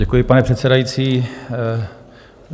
Děkuji, pane předsedající.